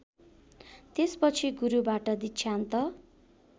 त्यसपछि गुरुबाट दीक्षान्त